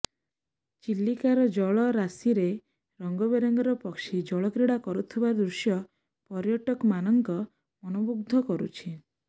ଚିଲିକାର ଜଳ ରାଶିରେ ରଙ୍ଗ ବେରଙ୍ଗର ପକ୍ଷୀ ଜଳ କ୍ରୀଡ଼ା କରୁଥିବା ଦୃଶ୍ୟ ପର୍ଯ୍ୟଟକମାନଙ୍କ ମନ ମୁଗ୍ଧ କରୁଛି